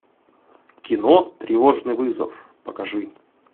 кино тревожный вызов покажи